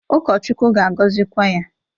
Ụkọchukwu ga-agọzịkwa ya.